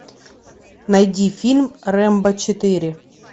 найди фильм рэмбо четыре